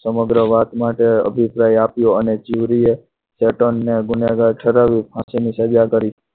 સમગ્ર વાત માટે અભિપ્રાય આપ્યો અને ચીબરી એ ચેતનને ગુનેગાર ઠરાવ્યો અને પછી સજા કરી.